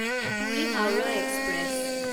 Puri Howrah express